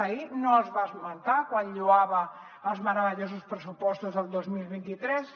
ahir no els va esmentar quan lloava els meravellosos pressupostos del dos mil vint tres